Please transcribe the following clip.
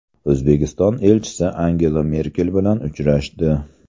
O‘zbekiston elchisi Angela Merkel bilan uchrashdi.